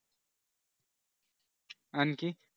आणखीन